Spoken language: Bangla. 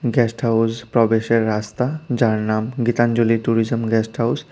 গেস্ট হাউস প্রবেশের রাস্তা যার নাম গীতাঞ্জলি ট্যুরিজাম গেস্ট হাউস ।